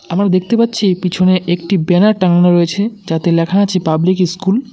আমরা দেখতে পাচ্ছি পিছনে একটি ব্যানার টানানো রয়েছে যাতে লেখা আছে পাবলিক ইস্কুল ।